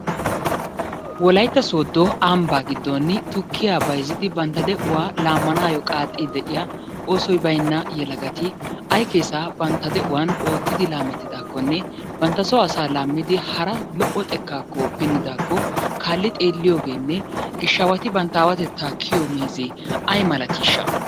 Wolaytta sodo Amba giddon tukkiya bayizzidi bantta de'uwa laammanaayyo qaaxxiddi de'iya oosoy bayinna yelagati ayi keesaa banttade'uwan oottidi laamettidaakkonne bantta so asaa laammidi hara lo'o xekkaakko pinnidaakko kaalli xeelliyogeenne gishshaawati bantta aawatettaa kiyiyo meezee ayi malatiishsha?